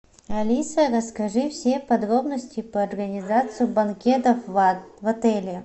алиса расскажи все подробности по организации банкетов в отеле